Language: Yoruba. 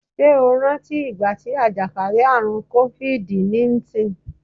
Ṣé o rántí ìgbà tí àjàkálẹ̀ àrùn kofid niintìn?